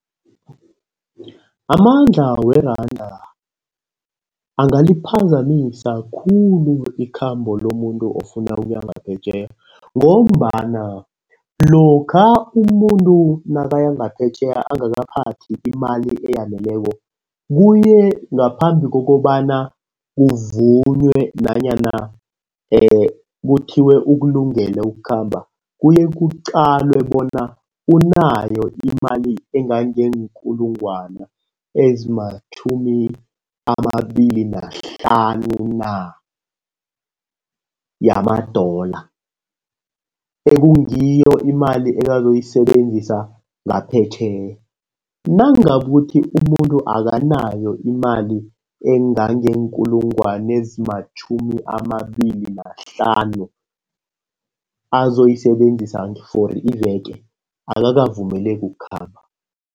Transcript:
Amandla weranda angaliphazamisa khulu ikhambo lomuntu ofuna ukuya ngaphetjheya ngombana, lokha umuntu nakaya ngaphetjheya angakaphathi imali eyaneleko kuye ngaphambi kokobana kuvunywe nanyana kuthiwe ukulungele ukukhamba. Kuye kuqalwe bona unayo imali engangeenkulungwane ezimatjhumi amabili nahlanu na yamadola. Ekungiyo imali azoyisebenzisa ngaphetjheya. Nakungaba ukuthi umuntu akanayo imali engangeenkulungwane ezimatjhumi amabili nahlanu azoyisebenzisa for iveke akakavumeleki ukukhamba.